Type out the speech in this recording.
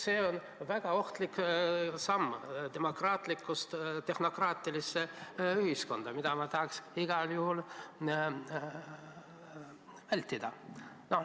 See oleks väga ohtlik samm demokraatlikust ühiskonnast tehnokraatilisse ühiskonda, mida ma tahaksin igal juhul vältida.